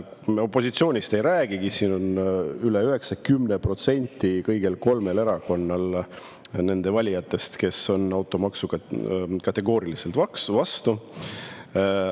Ma opositsioonist ei räägigi, 90% kõigi kolme erakonna valijatest on automaksule kategooriliselt vastu.